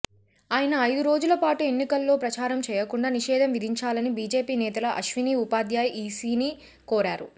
ఆయన ఐదు రోజుల పాటు ఎన్నికల్లో ప్రచారం చేయకుండా నిషేధం విధించాలని బీజేపీ నేతల అశ్వనీ ఉపాధ్యాయ్ ఈసీని కోరారు